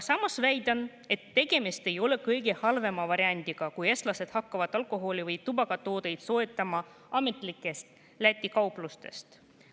Samas väidan, et tegemist ei ole kõige halvema variandiga, kui eestlased hakkavad alkoholi või tubakatooteid soetama Läti ametlikest kauplustest.